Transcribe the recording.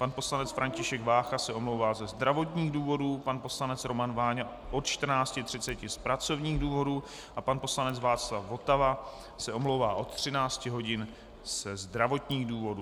Pan poslanec František Vácha se omlouvá ze zdravotních důvodů, pan poslanec Roman Váňa od 14.30 z pracovních důvodů a pan poslanec Václav Votava se omlouvá od 13 hodin ze zdravotních důvodů.